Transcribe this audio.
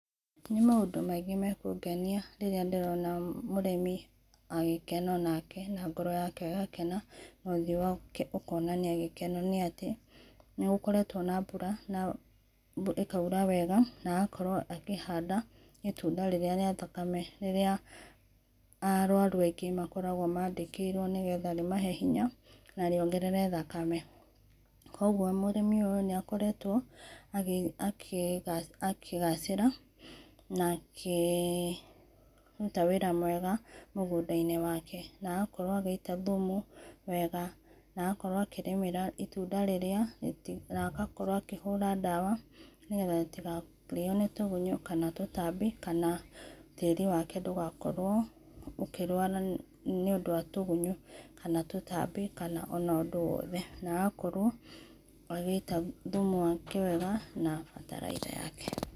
Nĩ maũndũ maĩngĩ mekũgenĩa rĩrĩa ndĩrona mũrĩmi agĩkena na goro yake ĩgakena na ũthĩo wake nĩagĩkena nĩ atĩ, nĩ gũkoretwo na mbũra na ĩkaũra wega na agakorwo akĩhanda ĩtũnda rĩrĩa rĩa thakame rĩrĩa arũarũ aĩngĩ makoragwo mandĩkĩrwo nĩ getha rĩmahe hĩnya na rĩogerere thakame, kwogwo mũrĩmĩ ũyũ nĩ akoretwo akĩgacira na akĩrũta wĩra mwega mũgũnda inĩ wake na agakorwo agĩita thũmũ wega na agkorwo akĩrĩmĩra itũnda rĩrĩa, na agkorwo akĩhũra ndawa nĩ getha rĩtĩkarĩo nĩ togũnyũ kana tũtambĩ kana tarĩ wake ndũgakorwo ũkĩrũara nĩ ũndũ wa tũgũnyo kana tũtambĩ kana ũndũ o wothe na agakorwo agĩita thũmũ wake wega na batalaitha yake.